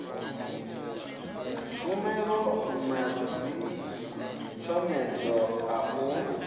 dzitshumelo na dzitshomedzo a u